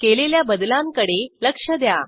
केलेल्या बदलांकडे लक्ष द्या